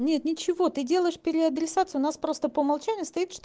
нет ничего ты делаешь переадресацию нас просто по умолчанию стоит что